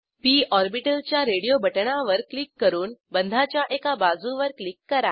P orbital च्या radio बटणावर click करून बंधाच्या एका बाजूवर क्लिक करा